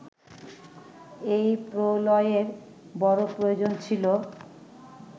এ প্রলয়ের বড় প্রয়োজন ছিল